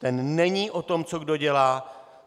Ten není o tom, co kdo dělá.